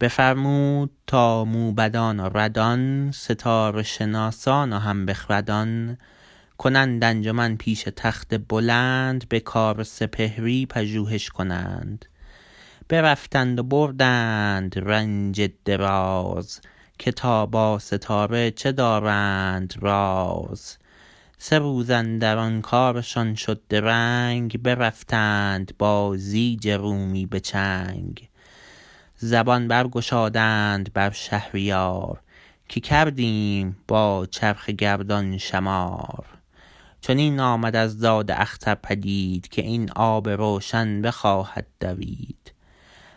بفرمود تا موبدان و ردان ستاره شناسان و هم بخردان کنند انجمن پیش تخت بلند به کار سپهری پژوهش کنند برفتند و بردند رنج دراز که تا با ستاره چه دارند راز سه روز اندران کارشان شد درنگ برفتند با زیج رومی به چنگ زبان بر گشادند بر شهریار که کردیم با چرخ گردان شمار چنین آمد از داد اختر پدید که این آب روشن بخواهد دوید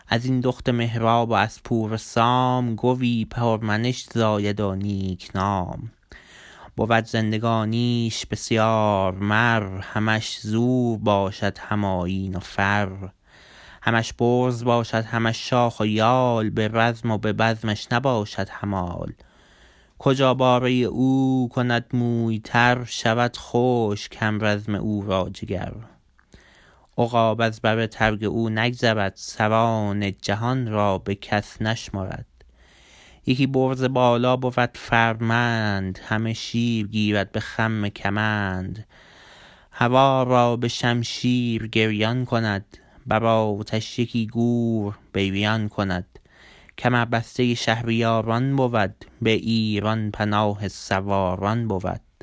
ازین دخت مهراب و از پور سام گوی پر منش زاید و نیک نام بود زندگانیش بسیار مر همش زور باشد هم آیین و فر همش برز باشد همش شاخ و یال به رزم و به بزمش نباشد همال کجا باره او کند موی تر شود خشک همرزم او را جگر عقاب از بر ترگ او نگذرد سران جهان را بکس نشمرد یکی برز بالا بود فرمند همه شیر گیرد به خم کمند هوا را به شمشیر گریان کند بر آتش یکی گور بریان کند کمر بسته شهریاران بود به ایران پناه سواران بود